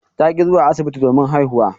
Ta ki zuwa asibiti domin haihuwa.